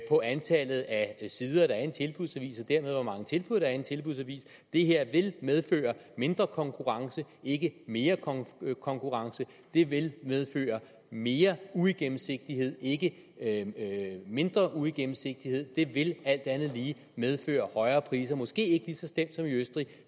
på antallet af sider der er i en tilbudsavis og dermed hvor mange tilbud der er i en tilbudsavis det her vil medføre mindre konkurrence ikke mere konkurrence og det vil medføre mere uigennemsigtighed ikke mindre uigennemsigtighed og det vil alt andet lige medføre højere priser måske ikke lige så slemt som i østrig